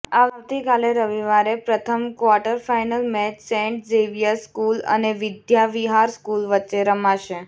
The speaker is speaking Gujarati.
આવતીકાલે રવિવારે પ્રથમ quarter final match Saint Xavier's school અને વિદ્યાવિહાર સ્કૂલ વચ્ચે રમાશે